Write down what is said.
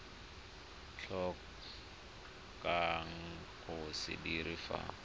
tlhokang go se dira fa